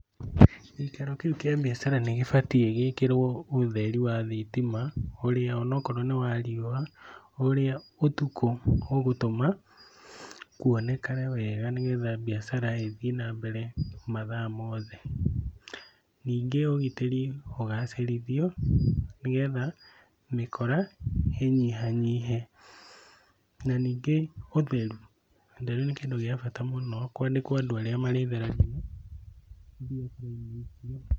Gĩikaro kĩu kĩa mbiacara nĩgĩbatiĩ gĩkĩrwo ũtheri wa thitima ũrĩa, o na korwo nĩ wa riũa, ũrĩa ũtukũ ũgũtũma kuonekane wega nĩgetha mbiacara ĩthiĩ na mbere mathaa mothe. Ningĩ ũgitĩri ũgacĩrithio nĩgetha mĩkora ĩnyihanyihe, na ningĩ ũtheru. Ũtheru nĩ kĩndũ gĩa bata mũno, kwandĩkwo andũ arĩa marĩtheragia